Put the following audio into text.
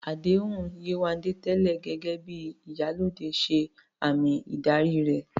Àdéhùn Yewande tẹ́lẹ̀ gẹ́gẹ́ bí "Iyalode" ṣe àmì ìdarí rẹ̀